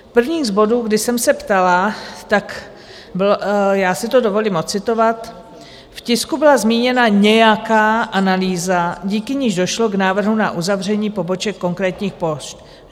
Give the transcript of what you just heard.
První z bodů, kdy jsem se ptala, tak byl... já si to dovolím ocitovat: V tisku byla zmíněna nějaká analýza, díky níž došlo k návrhu na uzavření poboček konkrétních pošt.